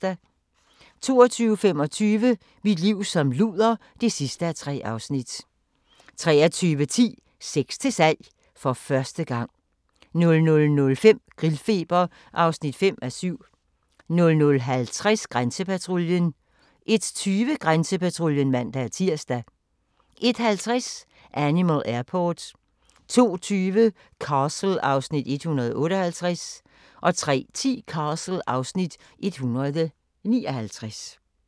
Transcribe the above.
22:25: Mit liv som luder (3:3) 23:10: Sex til salg - for første gang 00:05: Grillfeber (5:7) 00:50: Grænsepatruljen 01:20: Grænsepatruljen (man-tir) 01:50: Animal Airport 02:20: Castle (Afs. 158) 03:10: Castle (Afs. 159)